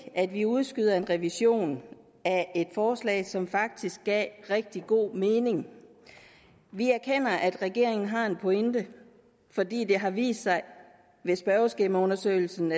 at vi udskyder en revision af et forslag som faktisk gav rigtig god mening vi erkender at regeringen har en pointe fordi det har vist sig ved spørgeskemaundersøgelsen